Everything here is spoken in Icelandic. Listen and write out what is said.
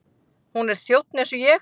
Hún er þjónn eins og ég.